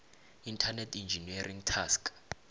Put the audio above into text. internet engineering task